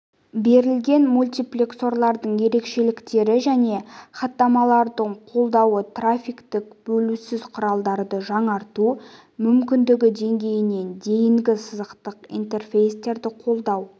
берілген мультиплексорлардың ерекшеліктері және хаттамаларын қолдауы трафикті бөлусіз құралдарды жаңарту мүмкіндігі деңгейінен дейінгі сызықтық интерфейстерді қолдау